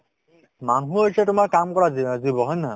মানুহ হৈছে তোমাৰ কাম কৰা জীন~ জীৱ হয় নে নহয়